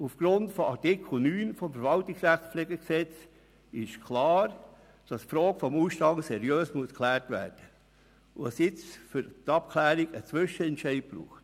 Aufgrund von Artikels 9 VRPG ist klar, dass die Frage des Ausstands seriös geklärt werden muss, und dass es jetzt für die Abklärung einen Zwischenentscheid braucht.